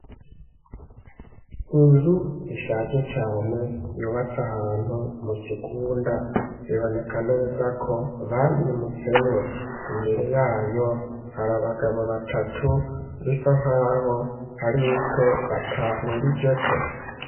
Inzu ishaje cane yubatse ahantu mu kigunda, biboneka neza ko bayimutsemwo imbere yayo hari abagabo batatu bisa nkaho hari ico batahurijeko.